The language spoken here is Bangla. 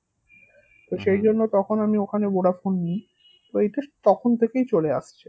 তো তখন আমি ওখানে ভোডাফোন নিই ঐটা তখন থেকেই চলে আসছে